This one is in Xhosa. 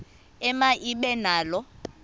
ema ibe nalo